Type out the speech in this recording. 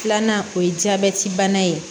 Filanan o ye jabɛti bana ye